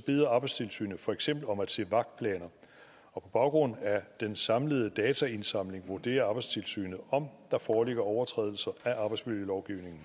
beder arbejdstilsynet for eksempel om at se vagtplaner og på baggrund af den samlede dataindsamling vurderer arbejdstilsynet om der foreligger overtrædelser af arbejdsmiljølovgivningen